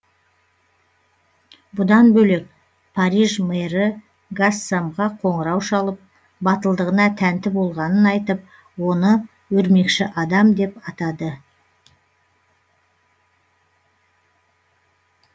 бұдан бөлек париж мэрі гассамға қоңырау шалып батылдығына тәнті болғанын айтып оны өрмекші адам деп атады